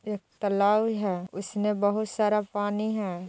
एक तलाव हे उसमे बोहोत सारा पानी हे ।